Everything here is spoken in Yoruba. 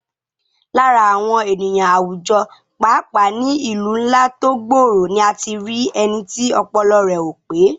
Lára àwọn ènìyàn àwùjọ, pàápàá ní ìlú ńlá tó gbòòrò ni a ti rí ẹni tí ọpọlọ rẹ̀ ò pé